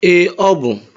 Ee, ọ bụ.